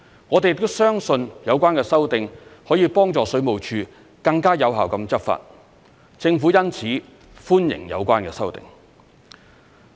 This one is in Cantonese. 我們亦相信有關修訂可以幫助水務署更有效執法，政府因此歡迎有關修訂。